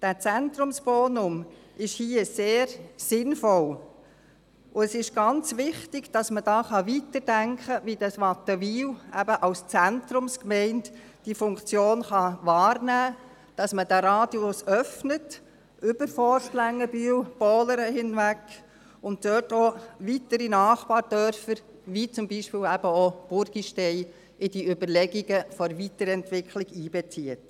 Der Zentrumsbonus ist hier sehr sinnvoll, und es ist ganz wichtig, dass man hier weiterdenken kann, wie Wattenwil eben diese Funktion als Zentrumsgemeinde wahrnehmen kann, dass man diesen Radius öffnet, über Forst-Längenbühl-Pohlern hinaus, und dabei auch weitere Nachbardörfer wie beispielsweise Burgistein in die Überlegungen zur Weiterentwicklung einbezieht.